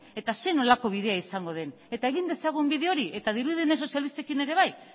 eta zer nolako bidea izango den eta egin dezagun bide hori eta dirudienez sozialistekin ere bai